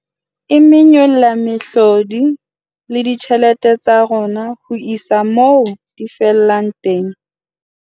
E monyolla mehlodi le ditjhelete tsa rona ho isa moo di fellang teng.